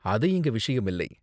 அது இங்க விஷயம் இல்லை.